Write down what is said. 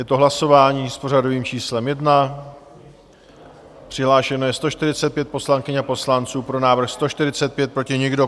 Je to hlasování s pořadovým číslem 1, přihlášeno je 145 poslankyň a poslanců, pro návrh 145, proti nikdo.